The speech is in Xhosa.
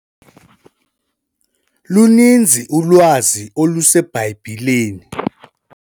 Luninzi ulwazi oluseBhayibhileni.